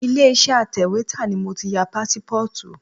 Ilé Iṣẹ́ atẹ̀wétà ni mo ti ya pásípọ́ọ̀tù.